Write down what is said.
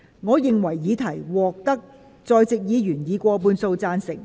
我認為議題獲得在席議員以過半數贊成。